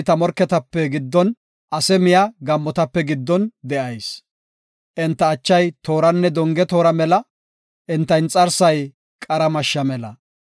Taani ta morketape giddon, ase miya gaammotape giddon de7ayis. Enta achay tooranne donge toora mela; enta inxarsay qara mashsha mela.